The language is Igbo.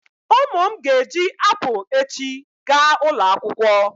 Ụmụ m ga-eji apụl echi gaa ulo akwụkwọ.